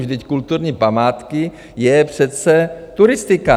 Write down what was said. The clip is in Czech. Vždyť kulturní památky je přece turistika.